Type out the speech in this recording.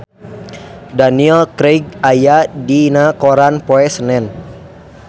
Daniel Craig aya dina koran poe Senen